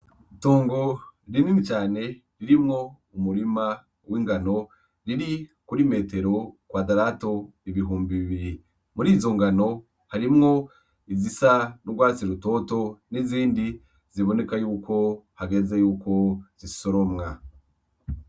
Itongo rinini cane ririmwo umurima w'ingano riri kuri metero kwadarato ibihumbi bibiri. Murizo ngano harimwo izisa n'urwatsi rutoto n'izindi ziboneka yuko hageze yuko zisoromwa.